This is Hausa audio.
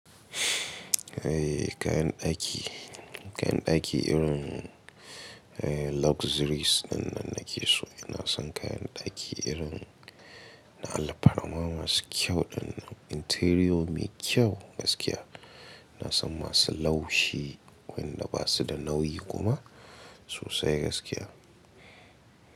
Eh kayan daki, kayan daki irin luxuries dinnan nake so. Ina son kayan daki irin na alfarma masu kyau dinnan interior mai kyau gaskiya. Na san masu laushi wanda ba su da nauyi kuma sosai gaskiya.